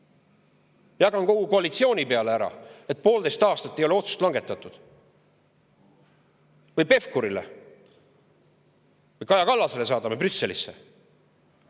Kas jagan ära kogu koalitsiooni peale, kus poolteist aastat ei ole otsust langetatud, või saadan Pevkurile või siis Kaja Kallasele Brüsselisse?